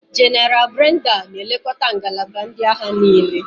Jéneral Brenda na-elekọta ngalaba ndị agha niile.